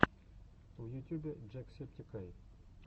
в ютюбе джек септик ай